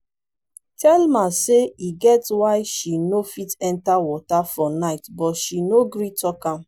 thelma say e get why she no fit enter water for night but she no gree talk am